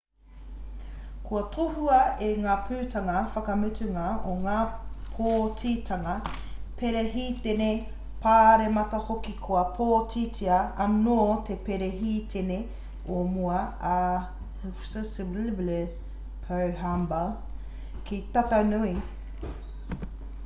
kua tohua e ngā putanga whakamutunga o ngā pōtitanga perehitene pāremata hoki kua pōtitia anō te perehitene o mua a hifikepunye pohamba ki te tatau nui